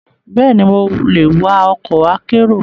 Bẹ́ẹ̀ni, mo lè wa ọkọ̀ akérò.